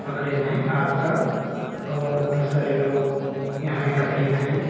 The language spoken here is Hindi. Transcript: पकड़े हैं आग का और बहुत सारे लोग यहां एकत्रित हैं।